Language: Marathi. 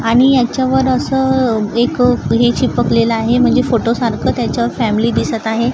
आणि याच्यावर असं एक हे चिपकलेला आहे म्हणजे फोटो सारखं त्याच्या फॅमिली दिसत आहे.